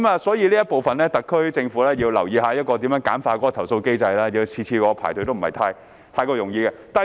所以，在這方面，特區政府要留意如何簡化投訴機制，每次要我排隊也不是容易的事。